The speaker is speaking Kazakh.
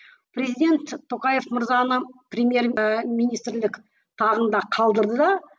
президент тоқаев мырзаны премьер і министрлік тағында қалдырды да